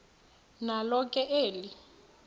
nalo ke eli